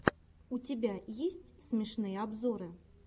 у тебя есть смешные обзоры